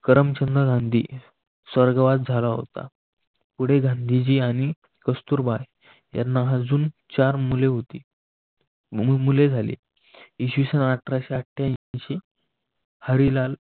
करमचंद गांधी स्वर्गवास झाला होता. पुढे गांधीजी आणि कस्तुरबाय यांना अजून चार मुले होती म्हणून मुले झाली इसवी सन अठराशे आठ्यानशी हरिलाल इ